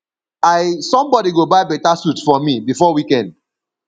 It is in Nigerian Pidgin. i somebody go buy beta suit for me before weekend